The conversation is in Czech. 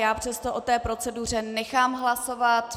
Já přesto o té proceduře nechám hlasovat.